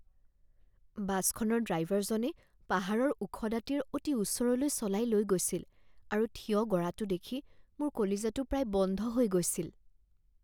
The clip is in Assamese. বাছখনৰ ড্ৰাইভাৰজনে পাহাৰৰ ওখ দাঁতিৰ অতি ওচৰলৈ চলাই লৈ গৈছিল আৰু থিয় গৰাটো দেখি মোৰ কলিজাটো প্ৰায় বন্ধ হৈ গৈছিল